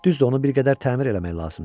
Düzdür, onu bir qədər təmir eləmək lazımdır.